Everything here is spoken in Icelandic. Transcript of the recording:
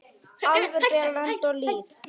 Álfur bera lönd og lýð.